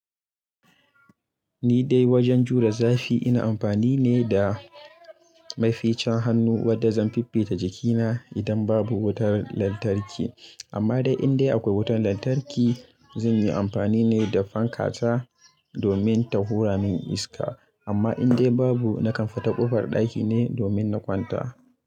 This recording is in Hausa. Ni dai wajen jure zafi ina amfani ne da maficin hannu wadda zan fiffita jikina idan babu wutar lantarki. Amma dai indai akwai wutar lantarki zan yi amfani ne da fanka ta domin ta hura min iska. Amma indai babu na kan fita ƙofar ɗaki ne domin na kwanta.